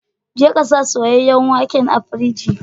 Je ka sa soyayen waken a firiji.